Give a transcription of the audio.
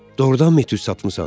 Doğurdanmı etüd satmısan?